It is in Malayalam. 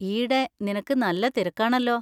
ഈയിടെ നിനക്ക് നല്ല തിരക്കാണല്ലോ.